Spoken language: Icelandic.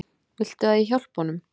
Viltu að ég hjálpi honum?